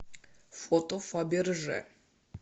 фото фаберже